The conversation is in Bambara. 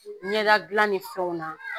Ɲɛda dilan ni fɛnw na